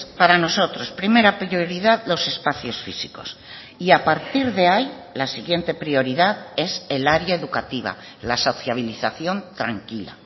para nosotros primera prioridad los espacios físicos y a partir de ahí la siguiente prioridad es el área educativa la sociabilización tranquila